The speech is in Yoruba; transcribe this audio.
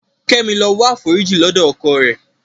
Kẹ́mi lọ wáforíjì lọ́dọ̀ ọkọ rẹ̀.